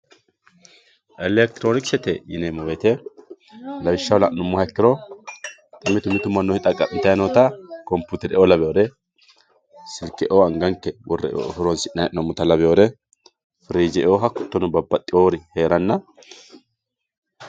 elektroonikisete yineemo woyiite lawishshaho la'numoha ikkiro mitu mitu mannoti dhaqa'mitayi noota komputere"oo lawiyoore silke"oo anganke worre horonsi'nayii hee'noomota lawioore firiije"oo hattono babbadhiyoori heeranna.